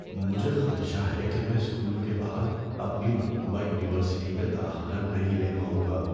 مجھے خدشہ ہے کہ میں اسکول کے بعد اپنی مطلوبہ یونیورسٹی میں داخلہ نہیں لے پاؤں گا۔